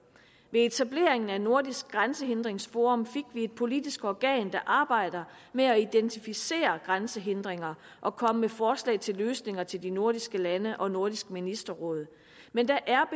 ved etableringen af nordisk grænsehindringsforum fik vi et politisk organ der arbejder med at identificere grænsehindringer og komme med forslag til løsninger til de nordiske lande og nordisk ministerråd men der er